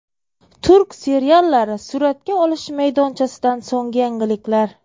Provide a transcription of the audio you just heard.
Turk seriallari suratga olish maydonchasidan so‘nggi yangiliklar.